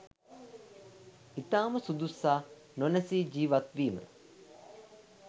ඉතාම සුදුස්සා නොනැසී ජීවත්වීම